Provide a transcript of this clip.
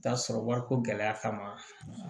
Taa sɔrɔ wariko gɛlɛya kama